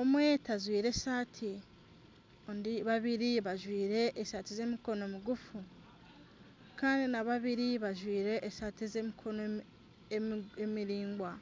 omwe tajwire esati babiri bajwire esati z'emikono migufu Kandi na babiri bajwire esati ez'emikono emiringwa.